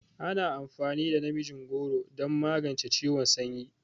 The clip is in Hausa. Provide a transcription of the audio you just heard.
Ana amfani da namijin goro don magance ciwon sanyi.